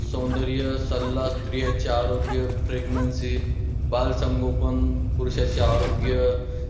सौंदर्य सल्ला, स्त्रियांचे आरोग्य, pregnancy बाल संगोपन, पुरुषाचे आरोग्य.